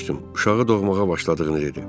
Uşağı doğmağa başladığını dedi.